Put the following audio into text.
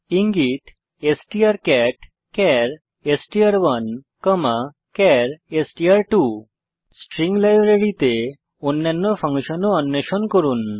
ইঙ্গিত strcatচার এসটিআর1 চার এসটিআর2 স্ট্রিং লাইব্রেরীতে অন্যান্য ফাংশন ও অন্বেষণ করুন